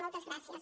moltes gràcies